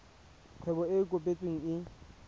kgwebo e e kopetsweng e